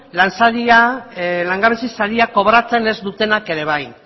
langabezi saria kobratzen ez dutenak ere bai